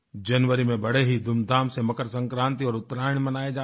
जनवरी में बड़े ही धूमधाम से मकर संक्रांतिऔर उत्तरायण मनाया जाता है